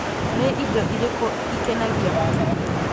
nĩ Indo ĩrĩkũ ikenagia mũtumia